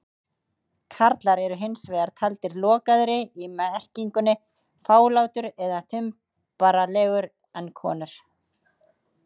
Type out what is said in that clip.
Karlar eru hins vegar taldir lokaðri- í merkingunni fálátur eða þumbaralegur- en konur.